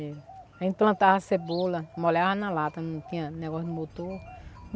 A gente plantava cebola, molhava na lata, não tinha negócio de motor.